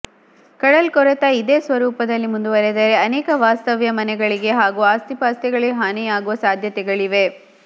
ಕಡಲ್ಕೊರೆತ ಇದೇ ಸ್ವರೂಪದಲ್ಲಿ ಮುಂದುವರಿದರೆ ಅನೇಕ ವಾಸ್ತವ್ಯದ ಮನೆಗಳಿಗೆ ಹಾಗೂ ಆಸ್ತಿಪಾಸ್ತಿಗಳಿಗೆ ಹಾನಿಯಾಗುವ ಸಾಧ್ಯತೆಗಳಿವೆ